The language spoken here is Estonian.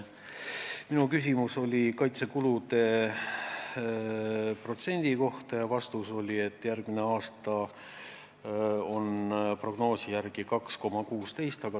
Minu küsimus oli kaitsekulude protsendi kohta ja vastus oli, et järgmine aasta on see prognoosi järgi 2,16.